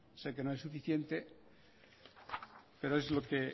sé que no es suficiente pero es lo que